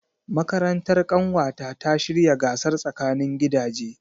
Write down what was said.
Makarantar ƙanwata ta shirya gasar tsakanin gidaje.